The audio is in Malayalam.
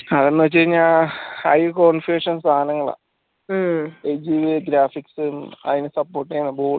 അതന്നു വെച്ചയ്‌നാ high configuration സാനങ്ങളാ graphics അയ്‌ന support ചെയ്യാനുള്ള board ഉം